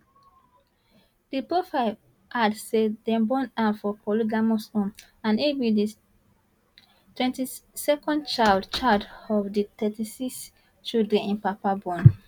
di profile add say dem born am for polygamous home and e be di 22nd child child out of di 36 children im papa born